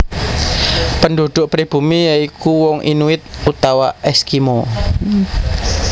Penduduk pribumi ya iku wong Inuit utawa Eskimo